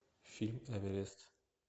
фильм эверест